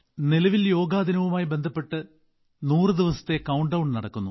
നിലവിൽ യോഗാ ദിനവുമായി ബന്ധപ്പെട്ട് 100 ദിവസത്തെ കൌണ്ട്ഡൌൺ നടക്കുന്നു